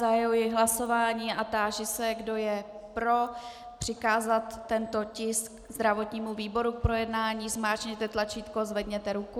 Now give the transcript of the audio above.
Zahajuji hlasování a táži se, kdo je pro přikázat tento tisk zdravotnímu výboru k projednání, zmáčkněte tlačítko, zvedněte ruku.